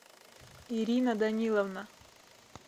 ирина даниловна